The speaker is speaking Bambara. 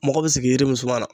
Mɔgɔ bi sigi yiri min suma na